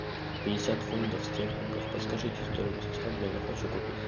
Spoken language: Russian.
пятьдесят фунтов стерлингов подскажите стоимость обмена хочу купить